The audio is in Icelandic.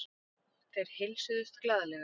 Þeir heilsuðust glaðlega.